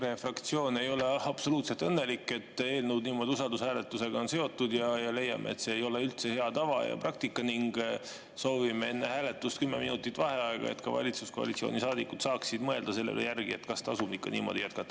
EKRE fraktsioon ei ole absoluutselt õnnelik, et eelnõud on niimoodi usaldushääletusega seotud, ja me leiame, et see ei ole üldse hea tava ja praktika, ning soovime enne hääletust kümme minutit vaheaega, et ka valitsuskoalitsiooni saadikud saaksid mõelda selle üle järele, kas tasub ikka niimoodi jätkata.